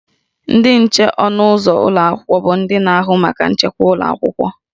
Ndị nche ọnụ ụzọ ụlọ akwụkwọ bụ ndị na-ahụ maka nchekwa ụlọ akwụkwọ